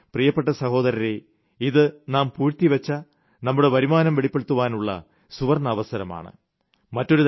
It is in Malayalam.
അതുകൊണ്ട് പ്രിയപ്പെട്ട സഹോദരരേ ഇത് നാം പൂഴ്ത്തിവെച്ച നമ്മുടെ വരുമാനം വെളിപ്പെടുത്തുവാനുള്ള സുവർണ്ണാവസരമാണ്